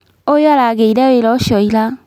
ũyũ aragĩire wĩra ũcio ira